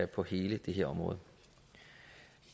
på hele det her område